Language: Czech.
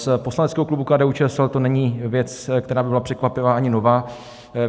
Z poslaneckého klubu KDU-ČSL to není věc, která by byla překvapivá ani nová.